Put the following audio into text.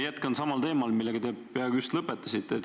Jätkan samal teemal, millega te just lõpetasite.